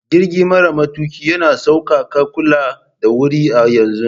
Jirgi mara matuƙi yana sauƙaƙa kula da wuri a yanzun.